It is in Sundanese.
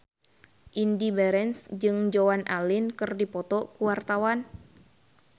Indy Barens jeung Joan Allen keur dipoto ku wartawan